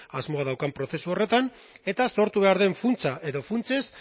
asmoa daukan prozesu horretan eta sortu behar den funtsa edo funtsez